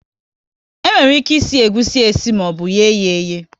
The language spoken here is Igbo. E nwere ike ịsị egusi esi maọbụ ye yá eyee